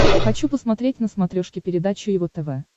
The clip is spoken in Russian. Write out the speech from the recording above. хочу посмотреть на смотрешке передачу его тв